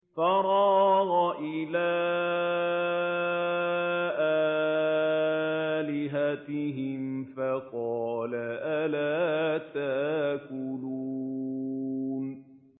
فَرَاغَ إِلَىٰ آلِهَتِهِمْ فَقَالَ أَلَا تَأْكُلُونَ